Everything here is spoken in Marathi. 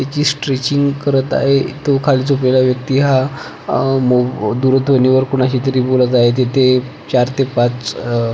त्याजि स्ट्रेचिंग करत आहे तो खाली झोपलेला व्यक्ति हा अह दूरध्वनी वर कोणाशी तरी बोलत आहे तिथे चार ते पाच --